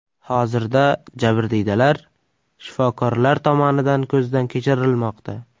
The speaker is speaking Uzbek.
Hozirda jabrdiydalar shifokorlar tomonidan ko‘zdan kechirilmoqda.